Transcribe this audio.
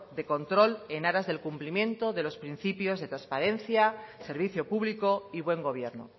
de control en aras del cumplimiento de los principios de transparencia servicio público y buen gobierno